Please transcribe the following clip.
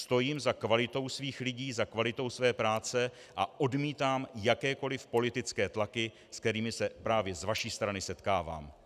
Stojím za kvalitou svých lidí, za kvalitou své práce a odmítám jakékoli politické tlaky, se kterými se právě z vaší strany setkávám.